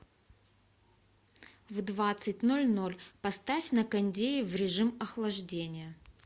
в двадцать ноль ноль поставь на кондее в режим охлаждения